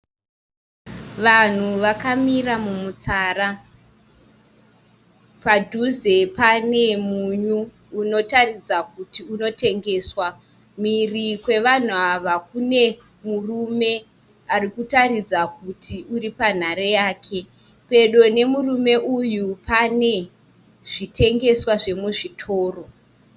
Vanhu vakamira mumutsara. Padhuze pane munyu unotaridza kuti unotengeswa. Mhiri kwevanhu ava kune murume ari kutaridza kuti ari panhare yake. Pedo nemurume uyu pane zvitengeswa zvemuzvitoro.